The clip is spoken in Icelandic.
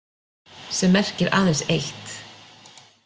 Sem merkir aðeins eitt.